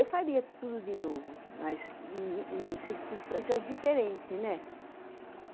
Eu faria tudo de novo, mas em circunstâncias diferentes.